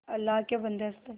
अल्लाह के बन्दे हंस दे